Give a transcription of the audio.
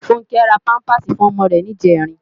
Funke rá pàmpásí fún òmò rè nijèrín